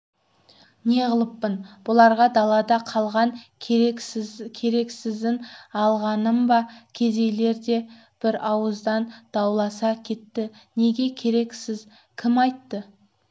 неғылыппын бұларға далада қалған керексізін алғаным ба кедейлер бір ауыздан дауласа кетті неге керексіз кім айтты